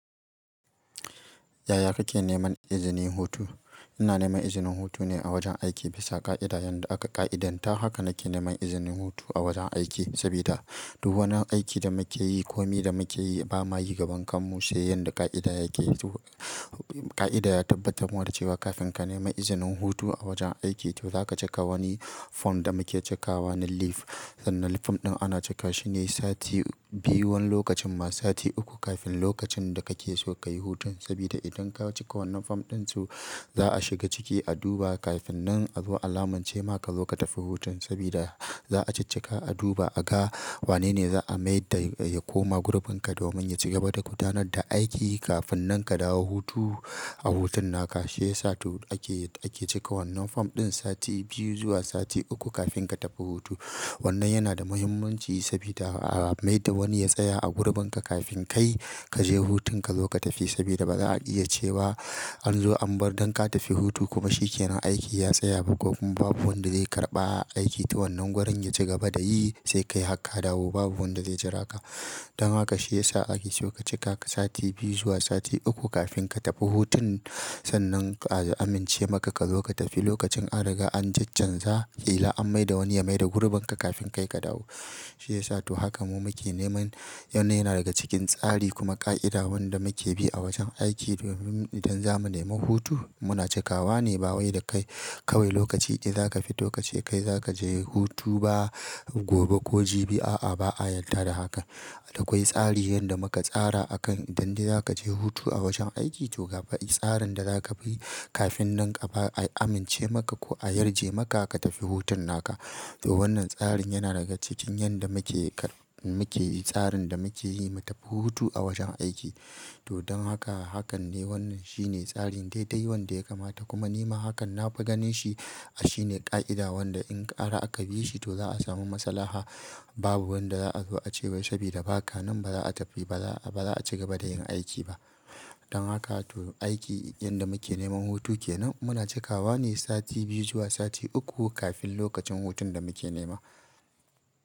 Yaya kake neman izinin hutu? Ina neman izinin hutu ne a wajen aiki bisa ƙa'ida yanda aka ƙa'idanta. Haka na ke neman izinin hutu a wajen aiki sabida du wanin aiki da muke yi ko mi da muke yi ba ma yi gaban kanmu sai yadda ƙa'idan yake. Ƙa'ida ya tabbatar muna da cewa kafin ka nemi izinin hutu a wajen aiki to za ka cika wani form da muke cikawa na leave. Sannan form ɗin ana cika shi ne sati biyu wani lokacin ma sati uku kafin lokacin da kake so ka yi hutun. Sabida idan ka cika wannan form ɗin su, za a shiga ciki a duba. Kafin nan a zo a lamunce maka zo ka tafi hutun sabida za a ciccika a duba, a ga wanene za a mai da ya koma gurbin ka domin ya ci gaba da gudanar da aiki kafin nan ka dawo hutu. A hutun naka shi ya sa ake, ake cika wannan form ɗin sati biyu zuwa sati uku kafin ka tafi hutu. Wannan yana da muhimmanci sabida a mai da wani ya tsaya a gurbin ka kafin kai ka je hutun ka zo ka tafi sabida ba za a iya cewa an zo an bar don ka tafi hutu kuma shi ke nan aiki ya tsaya ba ko kun babu wanda zai karɓa aiki. To wannan gurin ya ci gaba da yi sai kai haka dawo babu wanda zai jira ka. Don haka shi ya sa ake so ka cika ka sati biyu zuwa sati uku kafin ka tafi hutun. Sannan a amince maka ka zo ka tafi lokacin an riga an caccanza ƙila an mai da wani ya mai da gurbin ka kafin kai ka dawo. Shi ya sa to haka mu muke neman, wannan yana daga cikin tsari kuma ƙa'ida wanda muke bi a wajen aiki. Domin idan zamu nemi hutu muna cikawa ne ba wai da kai kawai lokaci ɗai zaka fito kace kai zakaje hutu ba gobe ko jibi. A'a, ba a yadda da hakan. Akwai tsari yanda muka tsara akan idan dai za ka je hutu a wajen aiki to gaba'i tsarin da za ka bi kafin nan a amince maka ko a yarje maka ka tafi hutun naka. To wannan tsarin yana daga cikin yanda muke, muke tsarin da muke yi mu tafi hutu a wajen aiki. To don haka hakan ne wannan shine tsarin daidai wanda ya kamata kuma nima hakan na fi ganin shi a shi ne ƙa'ida wanda in ƙara aka bi shi to za a samu maslaha. Babu wanda za'a zo ace wai sabida baka nan baza'a tafi ba za'a ba za'a cigaba da yin aiki ba don haka to aiki yanda muke neman hutu kenan muna cikawa ne sati biyu zuwa sati uku kafin lokacin hutun da muke nema.